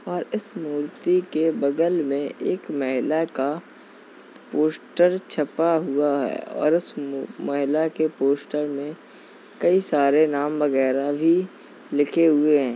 और इस मूर्ति के बगल में एक महिला का पोस्टर छपा हुआ है और इस महिला के पोस्टर में कई सारे नाम वगैरा भी लिखे हुए हैं।